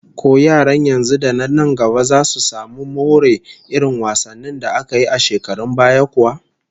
Ko yaran yanzu da na nan gaba zasu samu more irin wasannin da aka yi a shekarun baya kuwa?